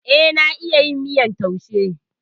Eh, na iya yin miyar taushe.